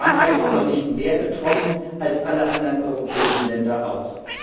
Frankreich ist doch nicht mehr betroffen als alle anderen europäischen Länder auch.